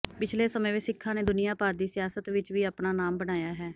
ਪਿਛਲੇ ਸਮੇਂ ਵਿੱਚ ਸਿੱਖਾਂ ਨੇ ਦੁਨੀਆਂ ਭਰ ਦੀ ਸਿਆਸਤ ਵਿੱਚ ਵੀ ਆਪਣਾ ਨਾਮ ਬਣਾਇਆ ਹੈ